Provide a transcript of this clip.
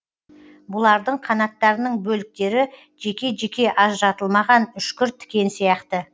бұлардың қанаттарының бөліктері жеке жеке ажыратылмаған үшкір тікен сияқты